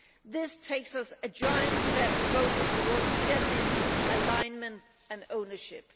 This takes us a giant step closer towards genuine alignment and ownership.